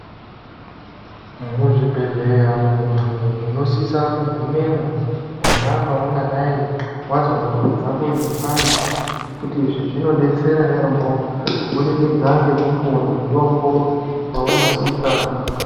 Muzvibhedhlera muntu unosise kugumemwo pona peungadai wazwa nyama dzako dzeipanda ngekuti izvi zvinodetsera yaamho kubudikidza ngekupuwe mutombo weunosisa muntu.